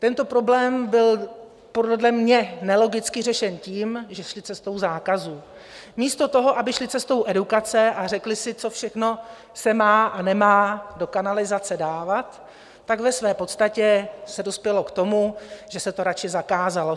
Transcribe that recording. Tento problém byl podle mě nelogicky řešen tím, že šli cestou zákazů místo toho, aby šli cestou edukace a řekli si, co všechno se má a nemá do kanalizace dávat - tak ve své podstatě se dospělo k tomu, že se to raději zakázalo.